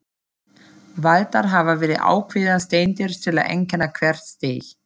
Valdar hafa verið ákveðnar steindir til að einkenna hvert stig.